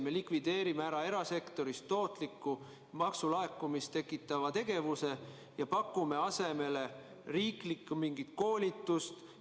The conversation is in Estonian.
Me likvideerime erasektorist tootliku, maksulaekumist tekitava tegevuse ja pakume asemele mingit riiklikku koolitust.